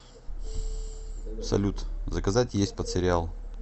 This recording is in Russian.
салют заказать есть под сериал